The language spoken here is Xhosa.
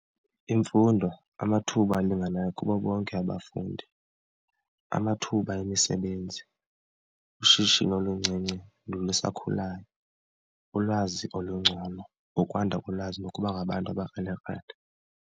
Imfundo, amathuba alinganayo kubo bonke abafundi, amathuba emisebenzi, ushishino oluncinci nolusakhulayo, ulwazi olungcono nokwanda kolwazi nokuba ngabantu abakrelekrele.